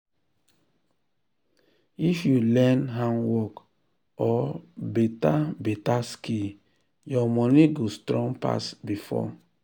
if you learn handwork or beta beta skill your money go strong pass before.